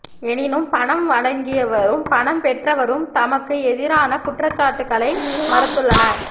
எனினும் பணம் வழங்கியவரும் பணம் பெற்றவரும் தமக்கு எதிரான குற்றச்சாட்டுக்களை மறுத்துள்ளனர்